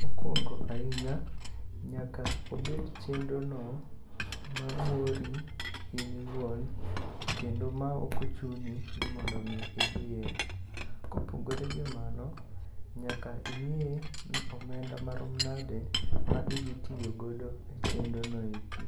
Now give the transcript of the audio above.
Mokwongo ahinya nyaka obed chenrono mamori in iwuon kendo maok ochuni ni mondo omi idhiye. Kopogore gi mano, nyaka ineye ni omenda marom nade ma idhitiyogodo e chenrono eki.